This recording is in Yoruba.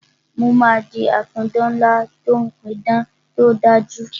Mo máa di apidán ńlá tí ó ń pí idán tí ó dájú